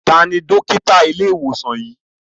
Tani Dókítà ile iwosan yii?